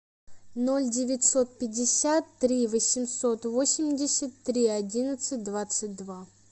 ноль девятьсот пятьдесят три восемьсот восемьдесят три одиннадцать двадцать два